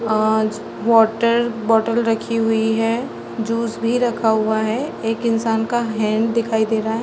आज water bottle रखी हुई है जूस भी रखा हुआ है एक इंसान का हैंड दिखाई दे रहा है।